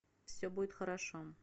все будет хорошо